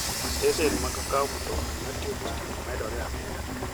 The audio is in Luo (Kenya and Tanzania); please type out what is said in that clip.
Stesen mag kowo mtokni matiyo gi stima medore ameda.